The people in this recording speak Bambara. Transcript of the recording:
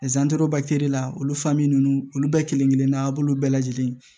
la olu ninnu olu bɛɛ kelen kelen na a b'olu bɛɛ lajɛlen